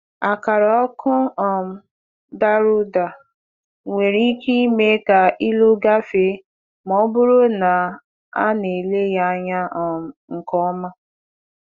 Akara ọkụ um dara ụda nwere ike ime ka ịlụ gafee ma ọ bụrụ na a na-ele ya anya um nke ọma.